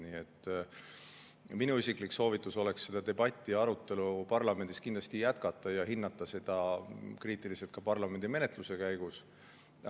Nii et minu isiklik soovitus oleks seda debatti, arutelu parlamendis kindlasti jätkata ja hinnata seda kriitiliselt ka parlamendimenetluse käigus.